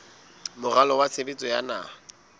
moralo wa tshebetso wa naha